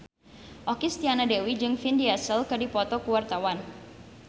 Okky Setiana Dewi jeung Vin Diesel keur dipoto ku wartawan